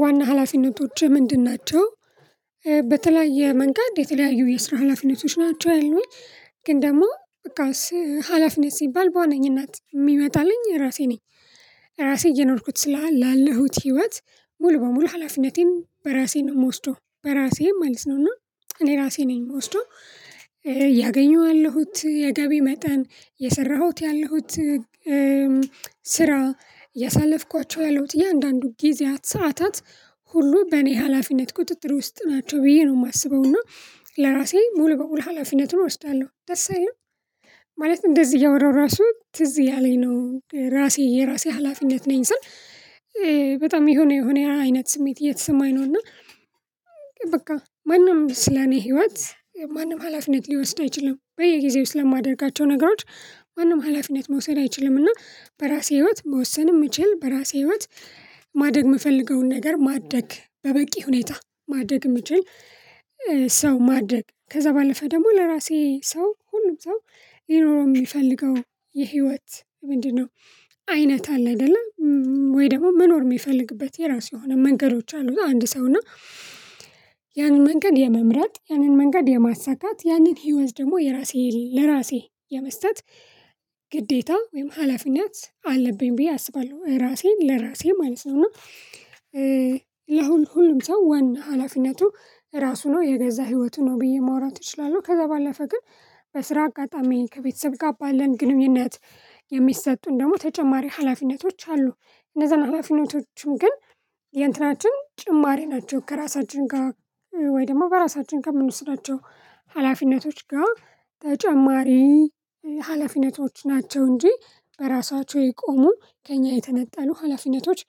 ዋና ሀላፊነቶችህ ምንድን ናቸው? በተለያየ መንጋድ የተለያዩ የስራ ሀላፊነቶች ናቸው ያሉኝ። ግን ደሞ በቃ ሀላፊነት ሲባል በዋናኝነት የሚመጣልኝ ራሴ ነኝ። ራሴ እየኖርኩት ስላላለሁት ህይወት ሙሉ በሙሉ ሀላፊነቴን በራሴ ነው እምወስደው በራሴ ማለት ነው። እና እኔ ራሴ ነኝ ወስዶ ያገኘዋለሁት የገቢ መጠን የሰራሁት ያለሁት። ስራ ያሳለፍኳቸው ያለሁት እያንዳንዱ ጊዜያት ሰዓታት ሁሉ በእኔ ሀላፊነት ቁጥጥር ውስጥ ናቸው ብዬ ነው የማስበው። እና ለራሴ ሙሉ በሙሉ ሀላፊነቱን እወስዳለሁ ደስ አይልም። ማለት እንደዚህ እያወራሁ ራሱ ትዝ እያለኝ ነው ራሴ የራሴ ሀላፊነት ነኝ ስል በጣም የሆነ የሆነ አይነት ስሜት የተሰማኝ ነው። እና በቃ ማንም ስለኔ ህይወት ማንም ሀላፊነት ሊወስድ አይችልም። በየጊዜው ስለማደርጋቸው ነገሮች ማንም ሀላፊነት መውሰድ አይችልም። እና በራሴ ህይወት መወሰንም ምችል በራሴ ህይወት። ማደግ ምፈልገውን ነገር ማደግ በበቂ ሁኔታ ማደግ ምችል። ሰው ማደግ ከዛ ባለፈ ደግሞ ለራሴ ሰው ሁሉም ሰው ሊኖረው የሚፈልገው የህይወት ምንድነው? አይነት አለ አይደለ? ወይ ደሞ መኖር የሚፈልግበት የራሱ የሆነ መንገዶች አሉ አንድ ሰው እና። ያንን መንገድ የመምረጥ ያንን መንገድ የማሳካት ያንን ህይወት ደግሞ የራሴ ለራሴ የመስጠት ግዴታ ወይም ሀላፊነት አለብኝ ብዬ አስባለሁ። ራሴን ለራሴ ማለት ነው። እና የሁ ሁሉም ሰው ዋና ሀላፊነቱ ራሱ ነው የገዛ ህይወቱ ነው ብዬ ማውራት እችላለሁ። ከዛ ባለፈ ግን በስራ አጋጣሚ ከቤተሰብ ጋር ባለን ግንኙነት የሚሰጡን ደግሞ ተጨማሪ ሀላፊነቶች አሉ። እነዛን ሀላፊነቶችም ግን የእንትናችን ጭማሪ ናቸው ከራሳችን ጋ ወይ ደሞ በራሳችን ከምንወስዳቸው ሀላፊነቶች ጋ ተጨማሪ ሀላፊነቶች ናቸው። እንጂ በራሳቸው የቆሙ ከእኛ የተነጠሉ ሀላፊነቶች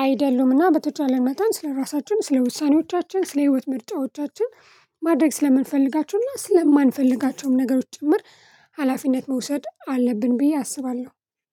አይደሉምና። በተቻለ መጠን ስለራሳችን ስለውሳኔዎቻችን ስለህይወት ምርጫዎቻችን ማድረግ ስለምንፈልጋቸውና ስለማንፈልጋቸውም ነገሮች ጭምር ሀላፊነት መውሰድ አለብን። ብዬ አስባለሁ።